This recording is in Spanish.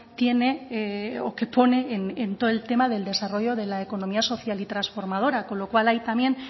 tiene o que pone en todo el tema del desarrollo de la economía social y transformadora con lo cual ahí también